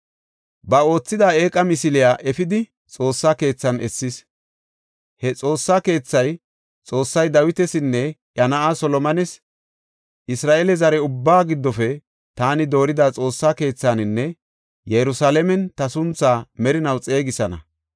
Ba oothida eeqa misiliya efidi Xoossa keethan essis. He Xoossa keethay, Xoossay Dawitasinne iya na7aa Solomones, “Isra7eele zare ubbaa giddofe taani doorida Xoossa keethaninne Yerusalaamen ta suntha merinaw xeegisana.